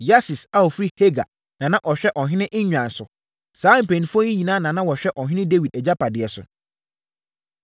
Yasis a ɔfiri Hagar na na ɔhwɛ ɔhene nnwan so. Saa mpanimfoɔ yi nyinaa na na wɔhwɛ ɔhene Dawid agyapadeɛ so.